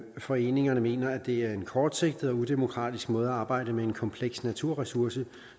foreningerne mener at det er en kortsigtet og udemokratisk måde at arbejde med en kompleks naturressource